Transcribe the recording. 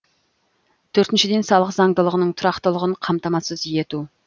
төртіншіден салық заңдылығының тұрақтылығын қамтамасыз ету